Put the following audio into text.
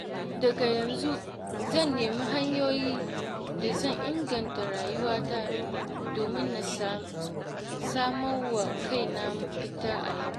Daga yanzu zan nemi hanyoyin da zan inganta rayuwata domin na sama wa kaina mafita a yau.